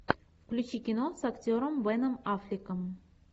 включи кино с актером беном аффлеком